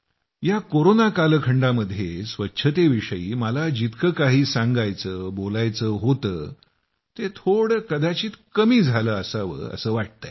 या कोरोना कालखंडामध्ये स्वच्छतेविषयी मला जितकं काही सांगायचं बोलायचं होतं ते थोडं कदाचित कमी झालं असावं असं वाटतंय